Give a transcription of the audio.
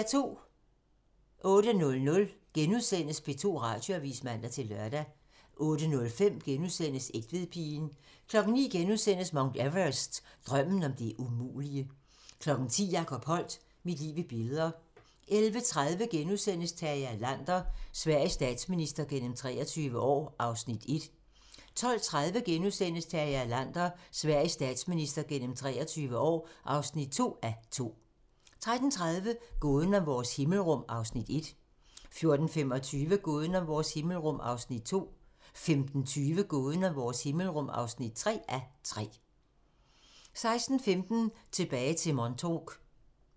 08:00: P2 Radioavis *(man-lør) 08:05: Egtvedpigen * 09:00: Mount Everest - Drømmen om det umulige * 10:00: Jacob Holdt - Mit liv i billeder 11:30: Tage Erlander - Sveriges statsminister gennem 23 år (1:2)* 12:30: Tage Erlander - Sveriges statsminister gennem 23 år (2:2)* 13:30: Gåden om vores himmelrum (1:3) 14:25: Gåden om vores himmelrum (2:3) 15:20: Gåden om vores himmelrum (3:3) 16:15: Tilbage til Montauk